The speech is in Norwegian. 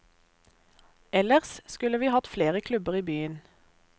Ellers skulle vi hatt flere klubber i byen.